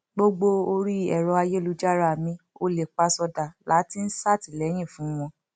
gbogbo orí ẹrọ ayélujára mi olèpasódà la ti ń ṣàtìlẹyìn fún wọn